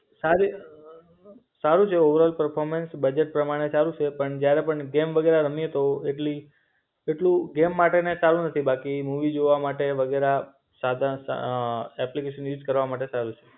સાર સારું છે ઓવરઓલ પરફોર્મન્સ, બજેટ પ્રમાણે સારું છે પણ જયારે પણ ગેમ બધા રમીયે તો એટલી એટલું ગેમ માટેનું સારું નથી બાકી મૂવી જોવા માટે વગેરા સાધન, અ એપ્લિકેશન યુસ કરવા માટે સારું છે.